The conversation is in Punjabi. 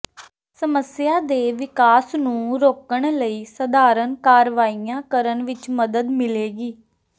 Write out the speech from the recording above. ਸਮੱਸਿਆ ਦੇ ਵਿਕਾਸ ਨੂੰ ਰੋਕਣ ਲਈ ਸਧਾਰਨ ਕਾਰਵਾਈਆਂ ਕਰਨ ਵਿੱਚ ਮਦਦ ਮਿਲੇਗੀ